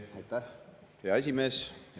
Aitäh, hea esimees!